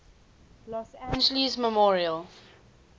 los angeles memorial